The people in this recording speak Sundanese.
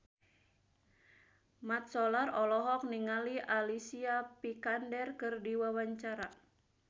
Mat Solar olohok ningali Alicia Vikander keur diwawancara